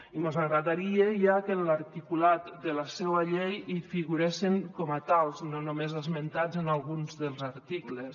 i mos agradaria que en l’articulat de la seua llei hi figuressin com a tals no només esmentats en alguns dels articles